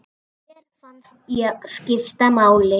Mér fannst ég skipta máli.